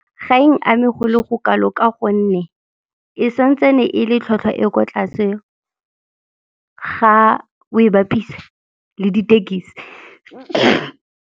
Ga e n'ame go le go kalo ka gonne e santsane e le tlhwatlhwa e kwa tlase ga o e bapisa le ditekesi.